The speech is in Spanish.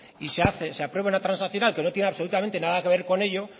y se aprueba una transaccional que no tiene absolutamente nada que ver con ello